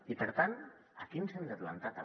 i per tant aquí ens hem de plantar també